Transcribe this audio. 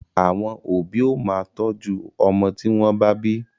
Àwọn òbí ó máa tọ́jú ọmọ tí wọ́n bá bí.